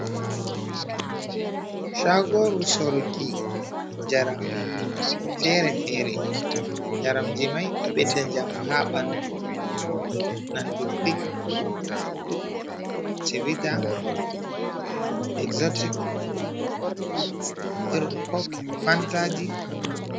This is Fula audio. Shagoru soruki jaram fere fere jaramji mai ɗo bedda jamu ha ɓandu nandu pik civita exotic irun kok fantaji.